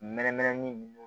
Mɛri mɛrɛnin minnu